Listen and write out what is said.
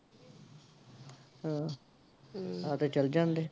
ਹਮ ਤੇ ਚੱਲ ਜਾਂਦੇ